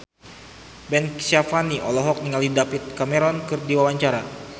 Ben Kasyafani olohok ningali David Cameron keur diwawancara